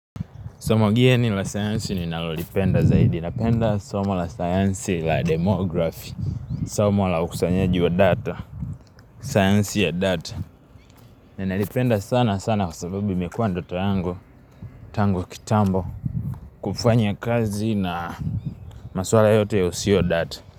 Somo geni la science ninalolipenda zaidi. Napenda somo la science la demography. Somo la ukusanyaji wa data. Science ya data. Ninalipenda sana sana kwa sababu imekuwa ndoto yangu. Tangu kitambo. Kufanya kazi na maswala yote ya usio data.